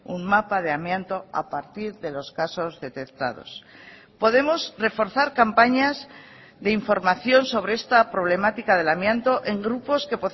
un mapa de amianto a partir de los casos detectados podemos reforzar campañas de información sobre esta problemática del amianto en grupos que